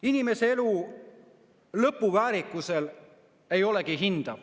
Inimese elu lõpu väärikusel ei olegi hinda.